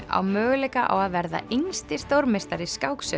á möguleika á að verða yngsti stórmeistari